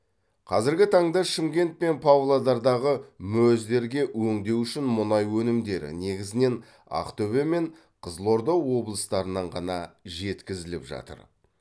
қазіргі таңда шымкент пен павлодардағы мөз дерге өңдеу үшін мұнай өнімдері негізінен ақтөбе мен қызылорда облыстарынан ғана жеткізіліп жатыр